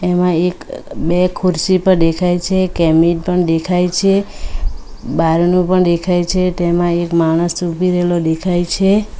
એમાં એક બે ખુરશી પર દેખાય છે કેબિન પણ દેખાય છે બારણું પણ દેખાય છે ટેમાં એક માણસ ઉભી રેલો દેખાય છે.